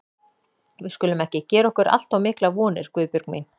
Við skulum ekki gera okkur allt of miklar vonir, Guðbjörg mín.